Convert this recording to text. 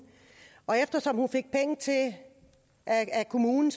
og eftersom hun fik penge af kommunen